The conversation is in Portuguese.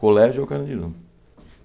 Colégio é o Carandiru.